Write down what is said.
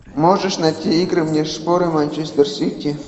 можешь найти игры мне шпоры манчестер сити